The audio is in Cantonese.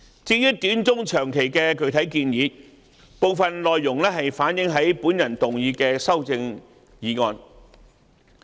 至於短、中、長期的具體建議，部分內容可見於我動議的修正案。